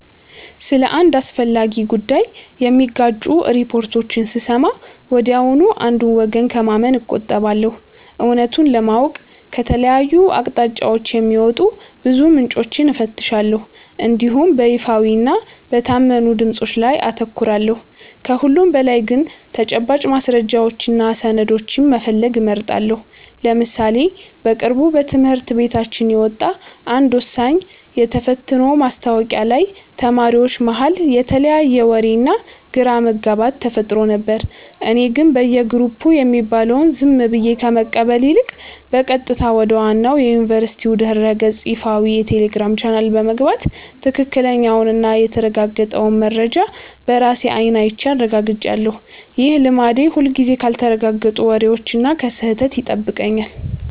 ስለ አንድ አስፈላጊ ጉዳይ የሚጋጩ ሪፖርቶችን ስሰማ ወዲያውኑ አንዱን ወገን ከማመን እቆጠባለሁ። እውነቱን ለማወቅ ከተለያዩ አቅጣጫዎች የሚወጡ ብዙ ምንጮችን እፈትሻለሁ እንዲሁም በይፋዊና በታመኑ ድምፆች ላይ አተኩራለሁ። ከሁሉም በላይ ግን ተጨባጭ ማስረጃዎችንና ሰነዶችን መፈለግ እመርጣለሁ። ለምሳሌ በቅርቡ በትምህርት ቤታችን የወጣ አንድ ወሳኝ የተፈትኖ ማስታወቂያ ላይ ተማሪዎች መሃል የተለያየ ወሬና ግራ መጋባት ተፈጥሮ ነበር። እኔ ግን በየግሩፑ የሚባለውን ዝም ብዬ ከመቀበል ይልቅ፣ በቀጥታ ወደ ዋናው የዩኒቨርሲቲው ድረ-ገጽና ይፋዊ የቴሌግራም ቻናል በመግባት ትክክለኛውንና የተረጋገጠውን መረጃ በራሴ አይን አይቼ አረጋግጫለሁ። ይህ ልማዴ ሁልጊዜም ካልተረጋገጡ ወሬዎችና ከስህተት ይጠብቀኛል።